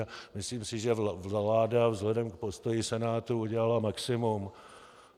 A myslím si, že vláda vzhledem k postoji Senátu udělala maximum.